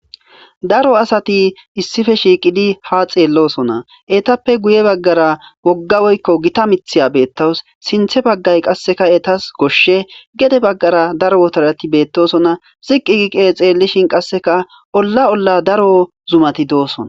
daro asati issife shiiqidi ha xeellosona etappe guye baggara wogga woykko gita mithiya beettawus sinthe baggay qasseka etas goshshe gede baggara daro wotarati beettosona siqi giqe xeellishin qasseka olla olla daro zumati doosona